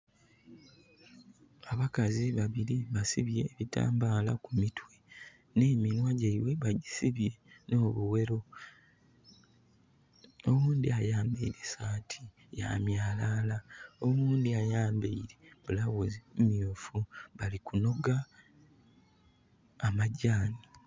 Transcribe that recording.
Abakazi babili basibye ebitambaala ku mitwe. Nh'eminhwa gyaibwe bagisibye nh'obuwero. Oghundhi ayambaile saati ya myalaala, oghundhi ayambaile blouse myuufu. Bali kunoga amajjani.